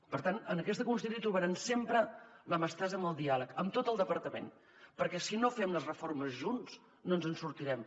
per tant en aquesta consellera trobaran sempre la mà estesa al diàleg en tot el departament perquè si no fem les reformes junts no ens en sortirem